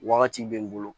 Wagati bɛ n bolo